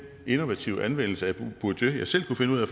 innovative anvendelse af bourdieu jeg selv kunne finde ud af